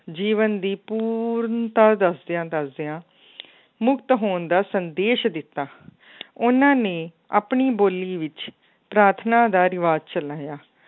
ਜੀਵਨ ਦੀ ਪੂਰਨਤਾ ਦੱਸਦਿਆਂ ਦੱਸਦਿਆਂ ਮੁਕਤ ਹੋਣ ਦਾ ਸੰਦੇਸ਼ ਦਿੱਤਾ ਉਹਨਾਂ ਨੇ ਆਪਣੀ ਬੋਲੀ ਵਿੱਚ ਪ੍ਰਾਰਥਨਾ ਦਾ ਰਿਵਾਜ਼ ਚਲਾਇਆ